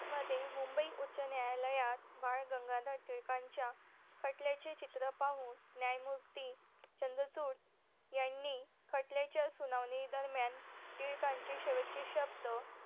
मध्ये मुंबई उच्चं न्यायालयात बाळ गंगाधर टिळकांच्या खटल्याचे चित्र पाहून न्यायमूर्ती चंद्रचूर यांनी खटल्याच्या सुनावणी दरम्यान टिळकांचे शेवटचे शब्द